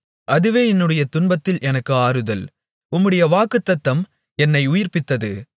அதுவே என்னுடைய துன்பத்தில் எனக்கு ஆறுதல் உம்முடைய வாக்குத்தத்தம் என்னை உயிர்ப்பித்தது